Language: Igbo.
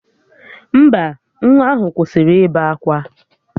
Mba, nwa ahụ kwụsịrị ịbe akwa